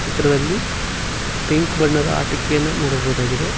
ಚಿತ್ರದಲ್ಲಿ ಪಿಂಕ್ ಬಣ್ಣದ ಆಟಿಕೆಯನ್ನ ನೋಡಬಹುದಾಗಿದೆ.